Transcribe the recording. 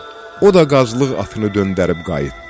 O da qazılıq atını döndərib qayıtdı.